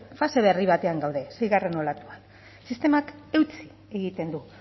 fase berri batean gaude seigarren olatuan sistemak eutsi egiten du